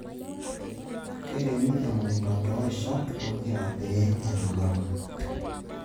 Keiremi emukunta too rshat pokira pee enanau.